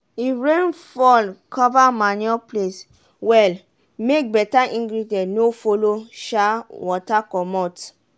if rain fall cover manure place well make beta ingredient no follow um water comot.